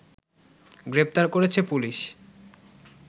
গ্রেপ্তার করেছে পুলিশ